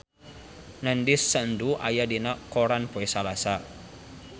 Nandish Sandhu aya dina koran poe Salasa